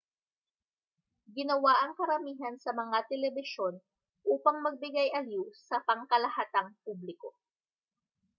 ginawa ang karamihan sa mga telebisyon upang magbigay-aliw sa pangkalahatang publiko